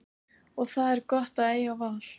Og það er gott að eiga val.